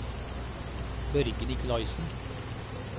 Børge Nicolaysen